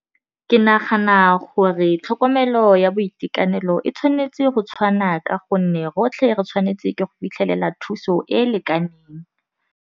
Ke nagana gore tlhokomelo ya boitekanelo e tshwanetse go tshwana ka gonne rotlhe re tshwanetse ke go fitlhelela thuso e e lekaneng.